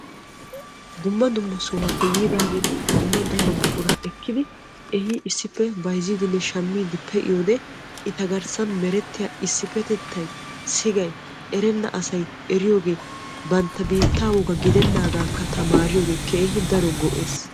Dumma dumma sohuwappe yiidagetti daro buqura bayzzidde dumma dumma eeshshanne hara biitta wogaa tamariyooge keehippe lo'ees.